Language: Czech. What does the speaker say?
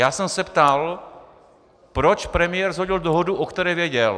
Já jsem se ptal, proč premiér shodil dohodu, o které věděl.